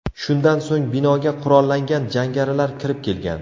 Shundan so‘ng binoga qurollangan jangarilar kirib kelgan.